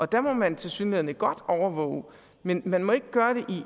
der må man tilsyneladende godt overvåge men man må ikke gøre det